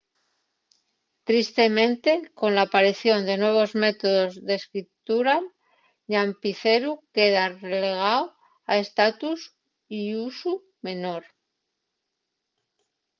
tristemente cola aparición de nuevos métodos d’escritura'l llápiceru queda relegáu a un estatus y usu menor